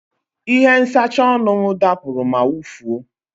Ihe nsacha ọnụ m dapụrụ ma wụfuo.